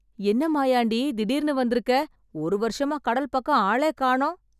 என்ன மாயாண்டி திடீர்னு வந்துருக்க , ஒரு வருஷமா கடல் பக்கம் ஆளே காணும்.